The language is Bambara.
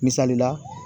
Misali la